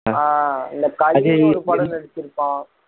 ஆஹ் இந்த களின்னு ஒரு படம் நடிச்சிருப்பான்